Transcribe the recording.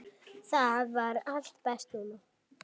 Þar var allt best núna.